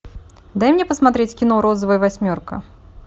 дай мне посмотреть кино розовая восьмерка